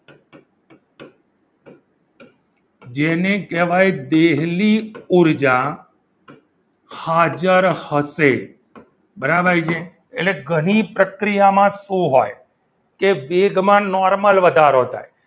જેને કહેવાય દેહલી ઉર્જા હાજર હશે બરાબર છે એટલે ઘણી પ્રક્રિયામાં શું હોય કે વેગમાન normal વધારો થાય.